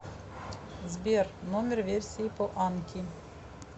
сбер номер версии по анки